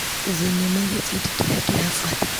Thinema gĩbindi kĩrĩa kĩrabuata .